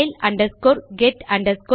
type செய்கிறேன்